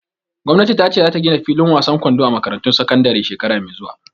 Gwamnati ta ce za ta gina fillin wasan kwando a makarantun sakandare shekara mai zuwa